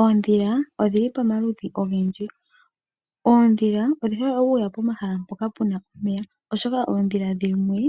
Oondhila odhili pamaludhi ogendji, oondhila odhi hole okuya pomahala mpona puna omeya oshoka oondhila dhimwe